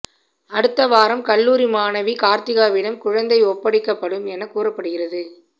அடுத்த வாரம் கல்லூரி மாணவி கார்த்திகாவிடம் குழந்தை ஒப்படைக்கப்படும் என கூறப்படுகிறது